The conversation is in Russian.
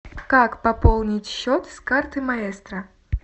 как пополнить счет с карты маэстро